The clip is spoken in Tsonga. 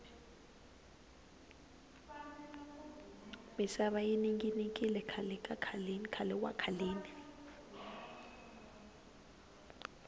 misava yi ninginikile khale wa khaleni